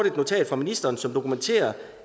et notat fra ministeren som dokumenterer